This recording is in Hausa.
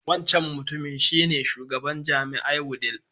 Wancan mutumin shi ne Shugaban jami'ae Wudil.